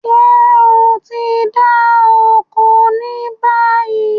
Ṣé o ti ń dá oko ni báyìí?